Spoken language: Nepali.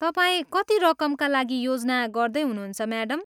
तपाईँ कति रकमका लागि योजना गर्दै हुनुहुन्छ, म्याडम?